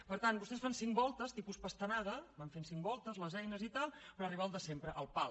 per tant vostès fan cinc voltes tipus pastanaga van fent cinc voltes les eines i tal per arribar al de sempre al pal